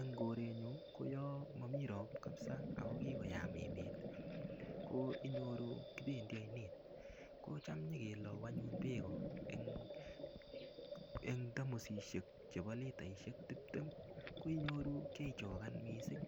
en korenyun olon momi ropta koyaa kot mising ako kikoyam emet ko inyoru kibendi oinet kocham konyo kelou anyun bek en tamosisiek chebo litaisiek tiptem ko inyoru kaichogan kot mising